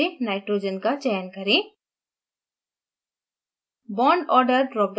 element drop down सूची से nitrogen का चयन करें